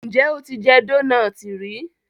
njé o tí jé Dónáátì rí?